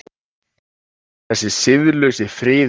Þessi siðlausi friðill hennar.